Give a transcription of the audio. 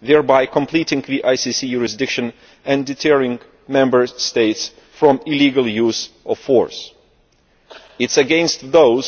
thereby completing the ICC jurisdiction and deterring Member States from illegal use of force. It is against those